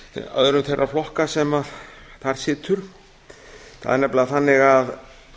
öðrum þeirra flokka sem þar sitja það er nefnilega þannig að